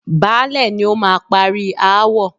Baálẹ̀ ni ó máa parí aáwọ̀.